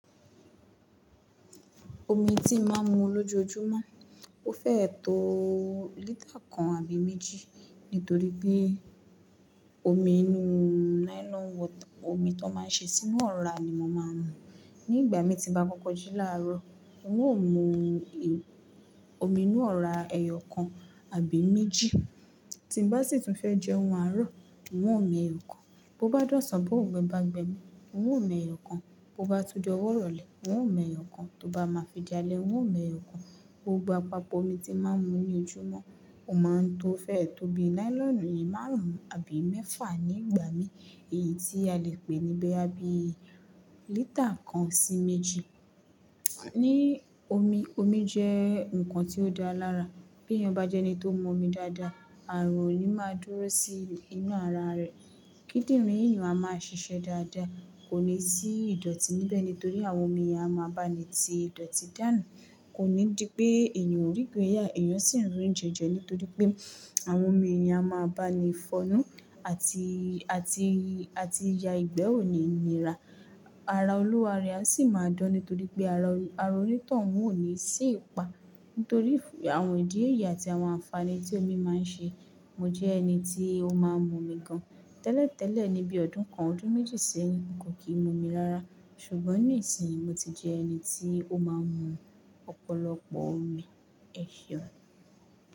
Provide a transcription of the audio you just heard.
Omi tí mo máa ń mu lójoojúmọ́, ó fẹ́ẹ̀ tóo lítà kan àbí méjì. Nítorí pé omi inú nylon water omi tó máa ń ṣe sínú ọ́ra ni mo máa ń mu. Ní ìgbà mi tí ba kọ́kọ́ jí láàárọ̀, n óò mu i omi inú ọ̀ra ẹyọ kan àbí méjì. Tí n bá sì tún fẹ́ jẹun arọ́, n óò mẹ́yọ̀ kan. Bo bá dọ̀sàn bó ón gbe bá n gbe mi, n óò mẹ́yọ̀ kan. Bo bá tún di ọwọ́ rọlẹ̀, n óò mẹ́yọ̀ kan. Tó bá máa fidi alẹ́, n óò mẹ́yọ̀ kan. Gbogbo àpapọ̀ omi tí mo máa ń mu ní ojúmọ́, ó máa ń tó fẹ́ẹ̀ tó bí nylon yìí márùn ún àbí mẹ́fà ní ìgbà mi, èyí tí a lè pè ni boya bí i lítà kan sí méjì. Ní omi, omi jẹ́ nǹkan tí ó dáa lára. Bí èèyàn bá jẹ́ ẹni tó n mu omi dáadáa, ààrùn ò ní máa dúró sí inú ara rẹ̀. Kídìrín yan a máa ṣíṣe dáadáa, kò ní sí ìdọ̀tí níbẹ̀ nítorí àwọn omi yen a máa bá ni ti ìdọ̀tí dànù. Kò ní di pé èèyàn ó rí gbéyà, èèyàn sì ń ri on jẹẹjẹ nítorí pé àwọn omi yen a máa bá ni fọ́nú àti, àti, àti ya ìgbẹ́ òní níra. Ara Olúware á sì máa dán nítorí pé ara ara oní tóhun ó ní sì pa. Nítorí àwọn ìdí èyí àti àwọn ànfàní tí omi máa ń ṣe, mo jẹ́ ẹni tí ó máa ń mu omi gan. Tẹ́lẹ̀tẹ́lẹ̀ ní bí i ọdún kan, ọdún méjì sẹ́yìn, mò ko kì í mu omi rárá. Ṣùgbọ́n ní ìsìn mo ti di ẹni tí ó máa ń mu ọ̀pọ̀lọpọ̀ omi ẹseun.